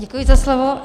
Děkuji za slovo.